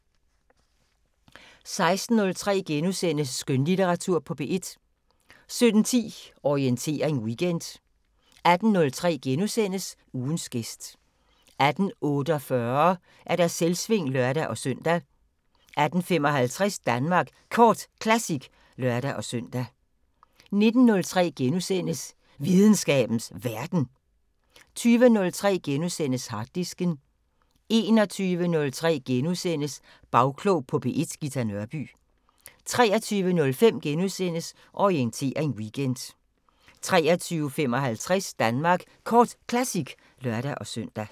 16:03: Skønlitteratur på P1 * 17:10: Orientering Weekend 18:03: Ugens gæst * 18:48: Selvsving (lør-søn) 18:55: Danmark Kort Classic (lør-søn) 19:03: Videnskabens Verden * 20:03: Harddisken * 21:03: Bagklog på P1: Ghita Nørby * 23:05: Orientering Weekend * 23:55: Danmark Kort Classic (lør-søn)